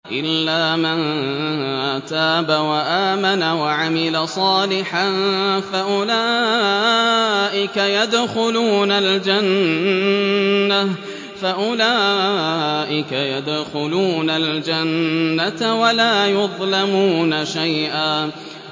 إِلَّا مَن تَابَ وَآمَنَ وَعَمِلَ صَالِحًا فَأُولَٰئِكَ يَدْخُلُونَ الْجَنَّةَ وَلَا يُظْلَمُونَ شَيْئًا